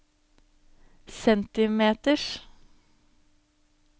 centimeters